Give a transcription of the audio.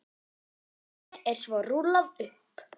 Deiginu er svo rúllað upp.